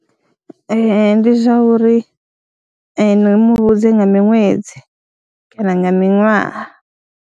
Ee, ndi zwa uri ndi mu vhudze nga miṅwedzi kana nga miṅwaha.